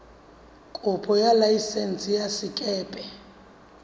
kopo ya laesense ya sekepe